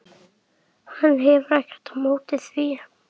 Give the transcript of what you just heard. Hann hefur ekkert á móti því.